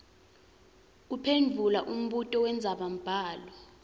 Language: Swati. kuphendvula umbuto wendzabambhalo